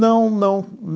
Não, não.